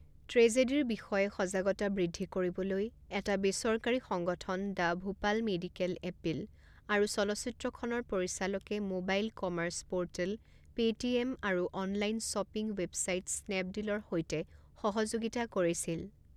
ট্ৰেজেডীৰ বিষয়ে সজাগতা বৃদ্ধি কৰিবলৈ, এটা বেচৰকাৰী সংগঠন দ্য ভূপাল মেডিকেল এপীল, আৰু চলচ্চিত্ৰখনৰ পৰিচালকে মোবাইল কমাৰ্চ পৰ্টেল পেটিএম আৰু অনলাইন শ্বপিং ৱেবছাইট স্নেপডিলৰ সৈতে সহযোগিতা কৰিছিল।